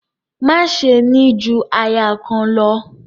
Má ṣe ni ju aya kan lọ!